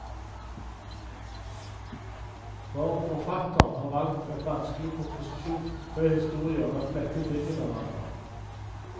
For forfatteren har valgt en vanskelig komposisjon, tre historier er flettet inn i hverandre.